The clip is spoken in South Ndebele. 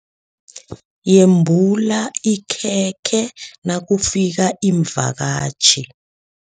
Yembula ikhekhe nakufika iimvakatjhi.